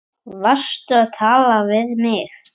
Varstu að tala við mig?